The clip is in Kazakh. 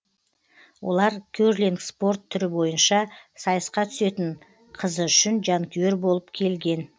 олар керлинг спорт түрі бойынша сайысқа түсетін қызы үшін жанкүйер болып келген